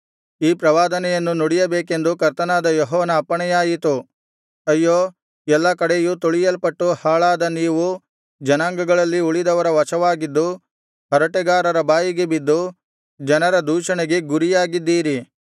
ಈ ಪ್ರವಾದನೆಯನ್ನು ನುಡಿಯಬೇಕೆಂದು ಕರ್ತನಾದ ಯೆಹೋವನ ಅಪ್ಪಣೆಯಾಯಿತು ಅಯ್ಯೋ ಎಲ್ಲಾ ಕಡೆಯೂ ತುಳಿಯಲ್ಪಟ್ಟು ಹಾಳಾದ ನೀವು ಜನಾಂಗಗಳಲ್ಲಿ ಉಳಿದವರ ವಶವಾಗಿದ್ದು ಹರಟೆಗಾರರ ಬಾಯಿಗೆ ಬಿದ್ದು ಜನರ ದೂಷಣೆಗೆ ಗುರಿಯಾಗಿದ್ದೀರಿ